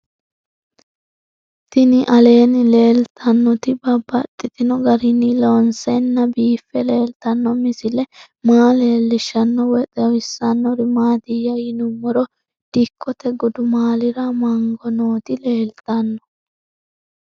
Tinni aleenni leelittannotti babaxxittinno garinni loonseenna biiffe leelittanno misile maa leelishshanno woy xawisannori maattiya yinummoro dikkotte gudummaallira mango nootti leelittanno